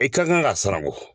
I ka kan ka siran ko